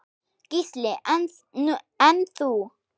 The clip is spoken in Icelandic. Gísli: En þú?